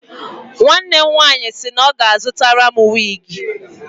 Nwanne m nwaanyị sị na ọ ga-azụtara m wiigi.